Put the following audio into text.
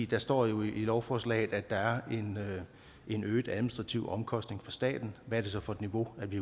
der står jo i lovforslaget at der er en øget administrativ omkostning for staten hvad er det så for et niveau vi